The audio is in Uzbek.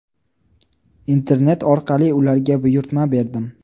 Internet orqali ularga buyurtma berdim.